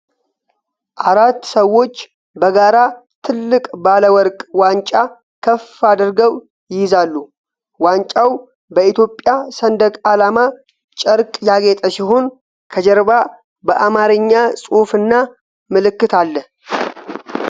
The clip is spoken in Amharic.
አራት ሰዎች በጋራ ትልቅ ባለ ወርቅ ዋንጫ ከፍ አድርገው ይይዛሉ። ዋንጫው በኢትዮጵያ ሰንደቅ ዓላማ ጨርቅ ያጌጠ ሲሆን፣ ከጀርባ በአማርኛ ጽሑፍና ምልክት አለ።